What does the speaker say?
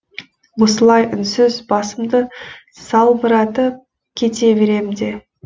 осылай үнсіз басымды салбыратып кете берем де